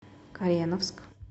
кореновск